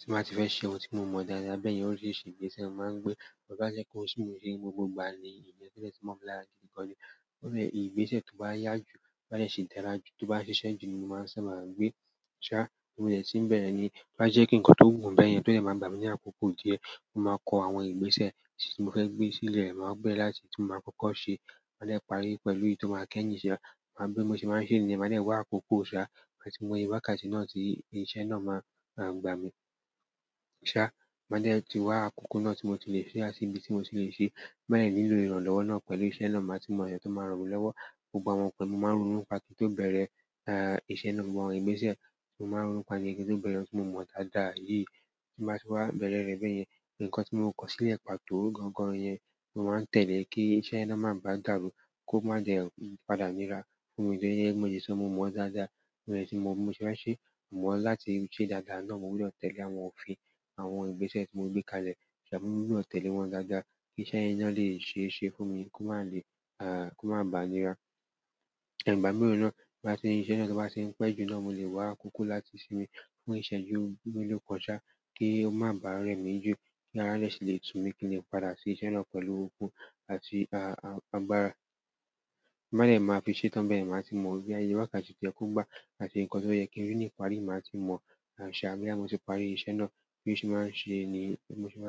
Tí mo bá ti fẹ́ ṣe ohun tí mo mọ dáadáa bẹ́ẹ̀ yen orísírisi ìgbésẹ̀ máa ń gbé. Mo bá jẹ́pe oun ti mon ṣe nigbogbo ìgbà ni ton dẹ́ tó lè tíì mọ̀ lára gidi gan ni èyí nínú igbese to wa ya ju, to ba sise ju ni mo ma gbe ṣá, mo dè tí ń bẹ̀rẹ̀ ni, tó bá jẹ́ kí ǹkan tó wù mí bẹ́ẹ̀ yẹn tó lè máa gbà mí ní àkókò dí ẹ̀. Mo máa kọ àwọn ìgbésẹ̀ tí mo fẹ́ gbé sílẹ̀ máa bére láti tí mo máa kọ́kọ́ ṣe. Má dè parí pẹ̀lú èyí tó máa kẹ́yìn iṣe. N bé mo ṣe máa ń ṣe nìyẹn. Máa lè wá àkókò ṣá, mọ ti mó ye wákàtí náà tí iṣẹ́ náà máa gbà mí. Sa, ma de ti wa akoko na ti mo ti le sa àti ibi ti mo tile se. Bẹ́ẹ̀ ni lilo ìrànlọ́wọ́ náà pẹ̀lú iṣẹ́ náà máa sì mọ̀ ẹ̀yàn tó máa ràn mí lọ́wọ́. Gbogbo àwọn nǹkan tí mo máa ń ronúpà kí n tó bẹ̀rẹ̀, iṣẹ́ náà gbogbo àwọn ìgbésẹ̀ tí mo máa ń ronúpà ní ohun kí n tó bẹ̀rẹ̀ ohun tí mo mọ̀ dáadáa yìí. Tí mo bá ti wá bẹ̀rẹ̀ rẹ̀ bẹ́ẹ̀ yẹn, ǹkan tí mo kọ sílẹ̀ pàtó gangan yẹn, mo máa ń tẹ̀lé kí iṣẹ́ náà má bá dàrú, kó má dẹ padà níra fún mi ni ẹ́e mo le sọ́ mo mọ̀ dáadáa, timo de tí mo ṣe máa ń ṣe, mọ̀ ọ́n láti ṣe dáadáa náà mo gbúdọ̀ tẹ̀lé àwọn òfin àwọn ìgbésẹ̀ tí mo gbé kalẹ̀. Àmo, mo gbúdọ̀ tẹ̀lé wọn dáadáa kí iṣẹ́ yẹn náà lè ṣe é ṣe fún mi, kó má le, kó má bà níra. Ìgbà mìíràn náà, bí iṣẹ́ náà bá ṣe ń pẹ́ jù náà mo lè wá àkókò láti sinmi fún ìṣẹ̀jú mélòó kán sa kí ó má bà rẹ̀ mí jù kí a lè sì lè tú mi kí ni padà sí iṣẹ́ náà pẹ̀lú akọko àti agbára. Tin ba de ti máa fi ṣe tán bẹ́ẹ̀ ni màá ti mọ bí ayé wákàtí ti o yẹ ko gba àti ǹkan tó yẹ kín rì ní parí màá ti mọ̀. Ṣà, bí àwọn tí parí iṣẹ́ náà bí mo ṣe máa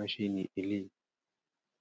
ń ṣe ní eléyìí.